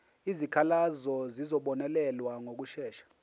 izikhalazo zizobonelelwa ngokushesha